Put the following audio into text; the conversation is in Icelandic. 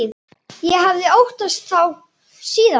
Ég hafði óttast þá síðan.